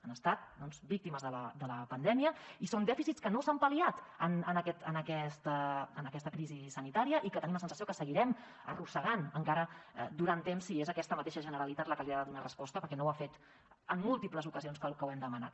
han estat víctimes de la pandèmia i són dèficits que no s’han pal·liat en aquesta crisi sanitària i que tenim la sensació que seguirem arrossegant encara durant temps si és aquesta mateixa generalitat la que li ha de donar resposta perquè no ho ha fet en múltiples ocasions tal com hem demanat